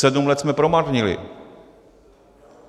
Sedm let jsme promarnili.